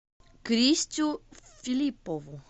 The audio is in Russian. кристю филиппову